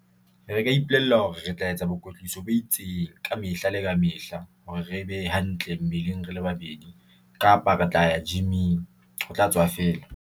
Re ka ipolella hore re tla etsa boikwetliso bo itseng kamehla le kamehla hore re be hantle mmeleng, rele babedi kapa re tla ya gym-ing ho tla tswa feela.